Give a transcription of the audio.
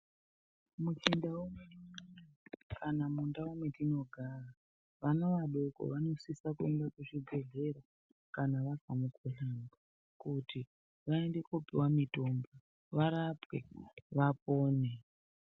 Muchindau mwedu kana mundau mwetinogara ana adoko vanosise kuenda kuzvibhedhlera kana varwara kuti vaende kopiwa mitombo varapwe vapone.